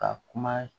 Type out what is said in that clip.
Ka kuma